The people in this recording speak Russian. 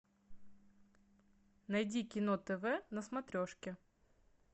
найди кино тв на смотрешке